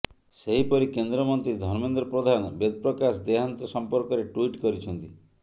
ସେହିପରି କେନ୍ଦ୍ରମନ୍ତ୍ରୀ ଧର୍ମେନ୍ଦ୍ର ପ୍ରଧାନ ବେଦପ୍ରକାଶ ଦେହାନ୍ତ ସମ୍ପର୍କରେ ଟୁଇଟ କରିଛନ୍ତି